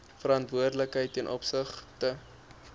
verantwoordelikheid ten opsigte